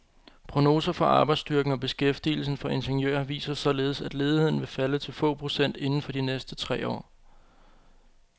Prognoser for arbejdsstyrken og beskæftigelsen for ingeniører viser således, at ledigheden vil falde til få procent inden for de næste tre år.